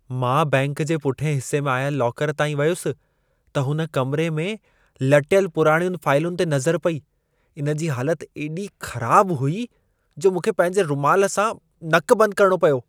मां बैंक जे पुठियें हिसे में आयल लॉकर ताईं वयुसि, त हुन कमिरे में लटियल पुराणियुनि फाइलुनि ते नज़र पेई। इन जी हालत एॾी ख़राब हुई जो मूंखे पंहिंजे रुमालु सां नक बंदि करणो पियो।